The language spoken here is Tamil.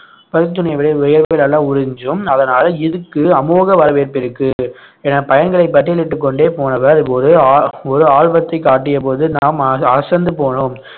பருத்தித் துணியை விட வியர்வை நல்லா உறிஞ்சும் அதனால இதுக்கு அமோக வரவேற்பு இருக்கு என பயன்களை பட்டியலிட்டுக் கொண்டே போனவர் போது ஒரு ஆஹ் ஒரு ஆல்பத்தைக் காட்டியபோது நாம் அச~ அசந்து போனோம்